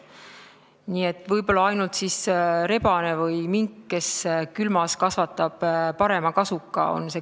Nii et see kliimaargument kehtib võib-olla ainult rebase või mingi kohta, kes külmas kasvatab parema kasuka.